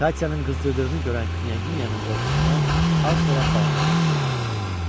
Katyanın qızdırdığını görən knyaginyanın qorxusundan az qala bağrı partlayacaqdı.